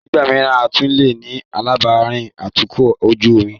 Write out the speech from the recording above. Nígbà mìíràn, a tún leè ní alábàárìn atukọ̀ ojú omi.